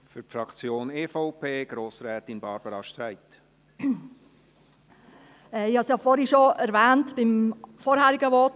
Ich habe es ja vorhin, beim vorangehenden Votum, bereits erwähnt: